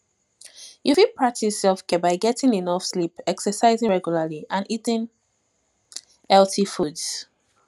you fit practice selfcare by getting enough sleep exercising regularly and eating healthy foods